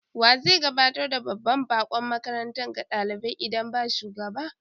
Wa zai gabatar da babban bakon makaranta ga dalibai idan ba shugaba?